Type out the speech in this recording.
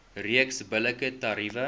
reeks billike tariewe